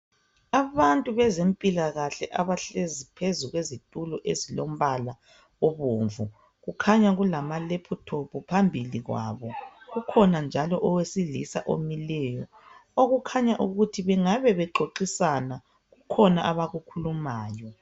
Abantu bezempilakahle abahlezi phezu kwezitulo ezilombala obomvu kukhanya kulama laptop phambili kwabo kukhona njalo owesilisa omileyo okukhanya ukuthi bengabe bexoxisana kukhona abakukhulumayo.